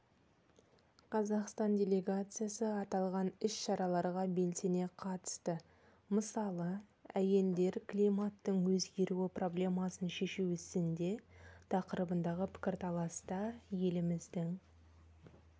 қазақстан делегациясы аталған іс-шараларға белсене қатысты мысалы әйелдер климаттың өзгеруі проблемасын шешу ісінде тақырыбындағы пікірталаста еліміздің